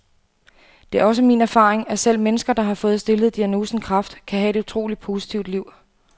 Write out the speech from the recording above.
Det er også min erfaring, at selv mennesker, der har fået stillet diagnosen kræft, kan have et utroligt positivt liv.